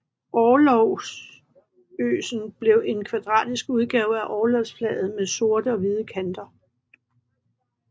Orlogsgøsen blev en kvadratisk udgave af orlogsflaget med sorte og hvide kanter